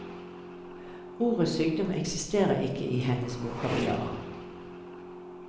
Ordet sykdom eksisterer ikke i hennes vokabular.